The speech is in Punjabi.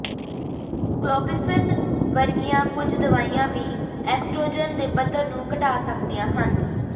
ਕਲੋਪਿਫ਼ਨ ਵਰਗੀਆਂ ਕੁਝ ਦਵਾਈਆਂ ਵੀ ਐਸਟ੍ਰੋਜਨ ਦੇ ਪੱਧਰ ਨੂੰ ਘਟਾ ਸਕਦੀਆਂ ਹਨ